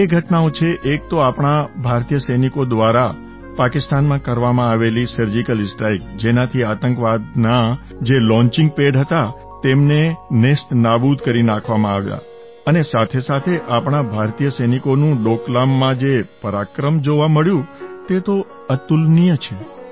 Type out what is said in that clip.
બે ઘટનાઓ છે એક તો આપણા ભારતીય સૈનિકો દ્વારા પાકિસ્તાનમાં કરવામાં આવેલી સર્જિકલ સ્ટ્રાઇક જેનાથી આતંકવાદનાં જે લૉન્ચિંગ પેડ હતાં તેમને નેસ્તનાબૂદ કરી નાખવામાં આવ્યાં અને સાથેસાથે આપણા ભારતીય સૈનિકોનું ડોકલામમાં જે પરાક્રમ જોવા મળ્યું તે અતુલનીય છે